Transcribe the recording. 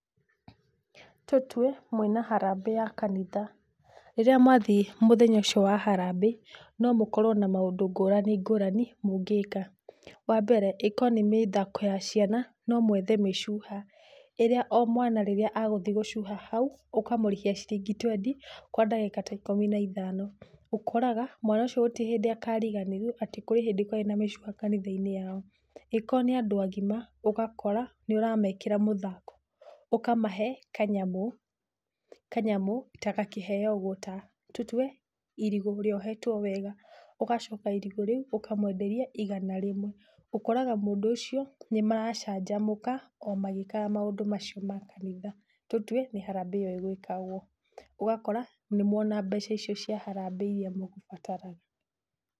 Tũtue mwĩ na harambĩ ya kanitha, rĩrĩa mwathiĩ mũthenya ũcio wa harambĩ no mũkorwo na maũndũ ngũrani ngũrani mũngĩka. Wa mbere ĩkorwo nĩ mĩthako ya ciana, no mũethe mĩcuha ĩrĩa o mwana rĩrĩa e gũthiĩ gũcuha hau ũkamũrĩhia ciringi twendi kwa ndagĩka ta ikũmi na ithano, ũkoraga mwana ũcio gũtirĩ hĩndĩ aka riganĩrwo atĩ kũrĩ hĩndĩ kwarĩ na mĩcuha kanitha-inĩ ya o. Angĩkorwo nĩ andũ agima ũgakora nĩũramekĩra mũthako, ũkamahe kanyamũ, kanyamũ ta gakĩheo ũguo, tatũtue irigũ rĩohetwo wega ũgacoka irigũ riũ ũkamwenderia igana rĩmwe, ũkoraga mũndũ ũcio nĩmaracanjamũka o magĩkaga maũndũ macio ma kanitha. nTũtue nĩ harambĩ ĩyo ĩgwĩkagwo, ũgakora nĩmuona mbeca icio cia harambĩ irĩa mũgũbataraga.